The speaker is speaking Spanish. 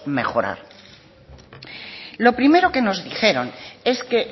mejorar lo primero que nos dijeron es que